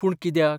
पूण कित्याक?